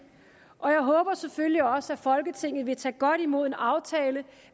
og jeg håber selvfølgelig også at folketinget vil tage godt imod en aftale